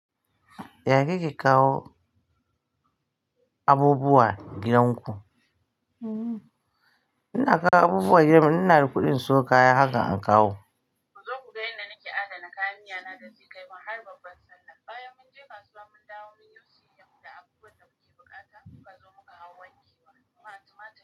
Ya kake kawo abubuwa gidan ku? Ina kawo abubuwa gidanmu. Ina da kuɗi in siyo kaya, haka in kawo. Ku zo ku ga yadda nake adana kayan miya na da zai kai mu har babban Sallah. Baya mun je kasuwa, mun dawo mun yosi yamma da abubuwan da muke bukata, kuka zo muka hau wanke wa. Kuma tumatur.